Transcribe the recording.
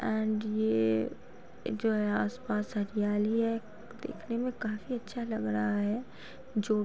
And ये जो है आस-पास हरियाली है। देखने में काफी अच्छा लग रहा है जो --